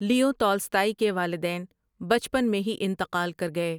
لیو Tolstoy کے والدین بچپن میں ہی انتقال کر گئے۔